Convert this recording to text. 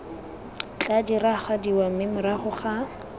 tla diragadiwa mme morago ga